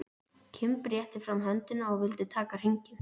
Kimbi rétti fram höndina og vildi taka hringinn.